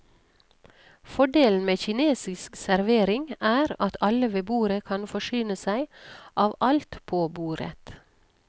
Fordelen med kinesisk servering er at alle ved bordet kan forsyne seg av alt på bordet.